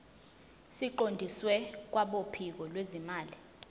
siqondiswe kwabophiko lwezimali